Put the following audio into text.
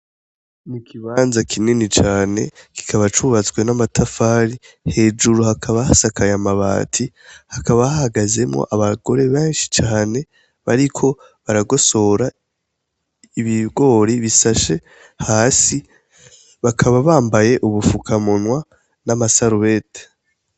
N’ikibanza kinini cane kikaba cubatswe n’amatafari, hejuru hakaba hasakaye amabati hakaba hahagazemwo abagore benshi cane bariko baragosora ibigori bisashe hasi , bakaba bambaye ubupfukamunwa n’amasarubeti.